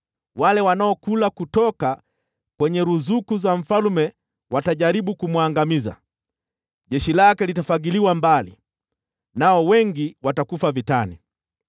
Wale wanaokula kutoka kwenye ruzuku za mfalme watajaribu kumwangamiza; jeshi lake litafagiliwa mbali, nao wengi watakufa vitani.